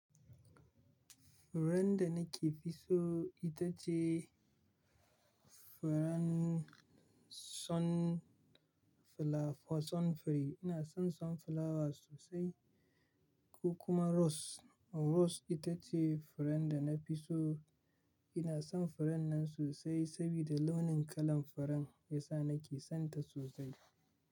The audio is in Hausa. Furen da nake fi so ita ce furen sunfla, sunflower. Ina son sunflower sosai ko kuma rose. Rose ita ce furen da na fi so. Ina son furen nan sosai sabida launin kalan furen ya sa nake son ta sosai.